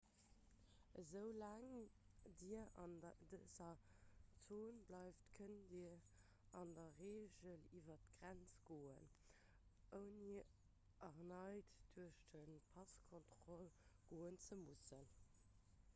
esoulaang dir an dëser zon bleift kënnt dir an der reegel iwwer d'grenze goen ouni erneit duerch d'passkontroll goen ze mussen